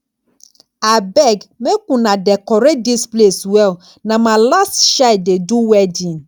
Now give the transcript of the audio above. abeg make una decorate dis place well na my last child dey do wedding